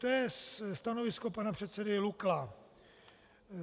To je stanovisko pana předsedy Lukla.